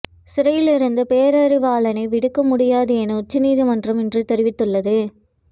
சிறையில் இருந்து பேரறிவாளனை விடுவிக்க முடியாது என உச்சநீதிமன்றம் இன்று தெரிவித்துள்ளது